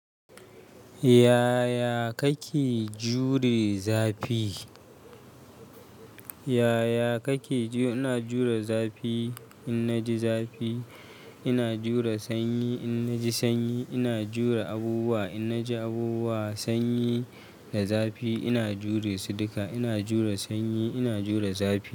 Yaya kake jure zafi? Yaya kake ju-- ina jure zafi? Inna ji zafi, ina jure sanyi. Inna ji sanyi, ina jure abubuwa. Inna ji abubuwa, sanyi da zafi, ina jure su duka. Ina jure sanyi, ina jure zafi.